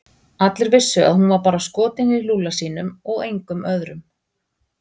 Allir vissu að hún var bara skotin í Lúlla sínum og engum öðrum.